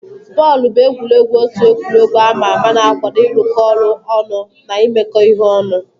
Bọọlụ bụ egwuregwu otu egwuregwu ama ama na-akwado ịrụkọ ọrụ ọnụ na imekọ ihe ọnụ.